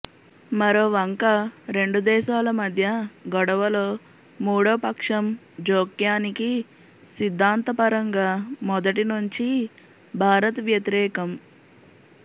మరోవంక రెండు దేశాల మధ్య గొడవలో మూడో పక్షం జోక్యానికి సిద్ధాంతపరంగా మొదటినుంచీ భారత్ వ్యతిరేకం